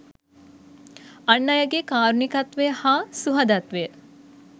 අන් අයගේ කාරුණිකත්වය හා සුහදත්වය